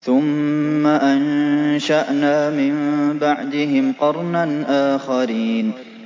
ثُمَّ أَنشَأْنَا مِن بَعْدِهِمْ قَرْنًا آخَرِينَ